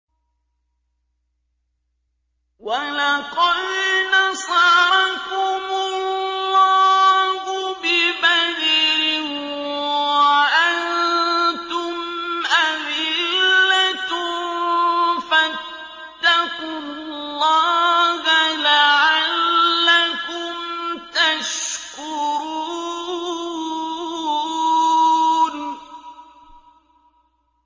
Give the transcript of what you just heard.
وَلَقَدْ نَصَرَكُمُ اللَّهُ بِبَدْرٍ وَأَنتُمْ أَذِلَّةٌ ۖ فَاتَّقُوا اللَّهَ لَعَلَّكُمْ تَشْكُرُونَ